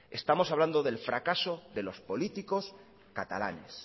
estamos hablando del fracaso de los políticos catalanes